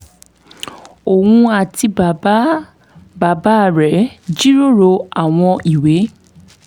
òun àti bàbá bàbá rẹ̀ jíròrò àwọn ìwé